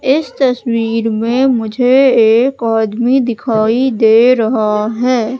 इस तस्वीर में मुझे एक आदमी दिखाई दे रहा है।